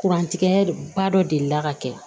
Kurantigɛ ba dɔ delila ka kɛ